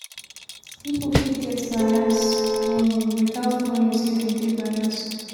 people fit get biase um without knowing sey dem dey bias